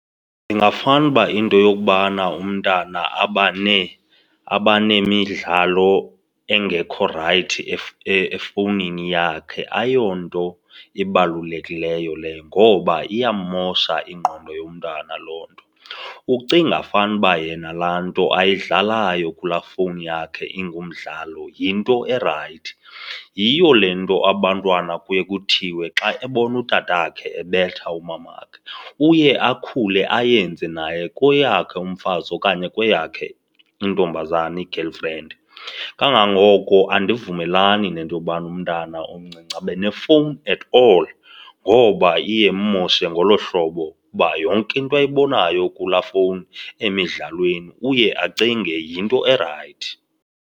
Ndingafanuba into yokubana umntana abaneemidlalo engekho rayithi efowunini yakhe ayonto ibalulekileyo leyo ngoba iyammosha ingqondo yomntana loo nto. Ucinga fanuba yena laa nto ayidlalayo kulaa fowuni yakhe ingumdlalo yinto erayithi. Yiyo le nto abantwana kuye kuthiwe xa ebona utatakhe ebetha umama wakhe uye akhule ayenze naye kweyakhe umfazi okanye kweyakhe intombazana, i-girlfriend. Kangangoko andivumelani nento yobana umntana omncinci abe nefowuni at all ngoba iye immoshe ngolo hlobo uba yonke into ayibonayo kulaa fowuni emidlalweni, uye acinge yinto erayithi.